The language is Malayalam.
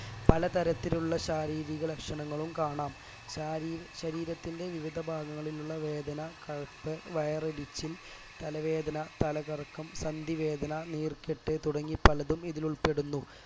പല തരത്തിലുള്ള ശാരീരിക ലക്ഷണങ്ങളും കാണാം ശാരീര ശരീരത്തിന്റെ വിവിധ ഭാഗങ്ങളിലുള്ള വേദന കഴപ്പ് വയറു എരിച്ചിൽ തലവേദന തലകറക്കം സന്ധിവേദന നീർക്കെട്ട് തുടങ്ങി പലതും ഇതിൽ ഉൾപ്പെടുന്നു